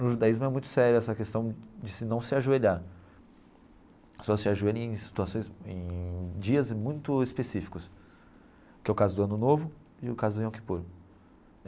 No judaísmo é muito séria essa questão de não se ajoelhar, só se ajoelha em situações em dias muito específicos, que é o caso do Ano Novo e o caso do Yom Kippur.